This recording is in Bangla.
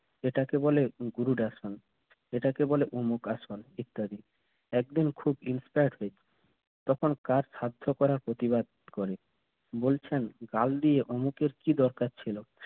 এটাকে বলে আসন এটাকে বলে অমুক হাসান ইত্যাদি একদিন খুব তখন কাজ করা প্রতিবাদ করে বলছেন গাল দিয়ে অমুকের কি দরকার ছিল?